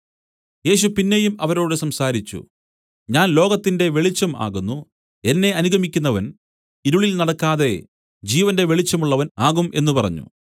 യേശു പിന്നെയും അവരോട് സംസാരിച്ചു ഞാൻ ലോകത്തിന്റെ വെളിച്ചം ആകുന്നു എന്നെ അനുഗമിക്കുന്നവൻ ഇരുളിൽ നടക്കാതെ ജീവന്റെ വെളിച്ചമുള്ളവൻ ആകും എന്നു പറഞ്ഞു